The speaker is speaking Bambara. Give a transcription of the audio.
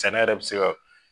San ne yɛrɛ bi se ka